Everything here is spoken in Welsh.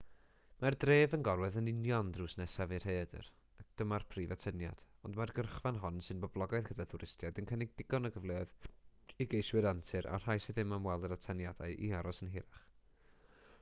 mae'r dref yn gorwedd yn union drws nesaf i'r rhaeadr a dyma'r prif atyniad ond mae'r gyrchfan hon sy'n boblogaidd gyda thwristiaid yn cynnig digon o gyfleoedd i geiswyr antur a'r rhai sydd am weld yr atyniadau i aros yn hirach